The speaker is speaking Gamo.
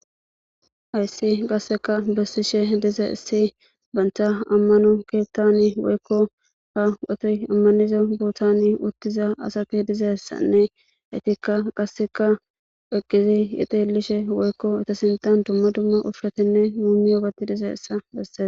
Hayssi qasseka bessishe dize issi bantha ammano keettani woykko ha wotoy ammaniza bootani uttiza asaki dizeyssanne etikka qasseka eqqizi ixellishe woykko etasintan dumma dumma ufratenne muumi oobati dize issa besses.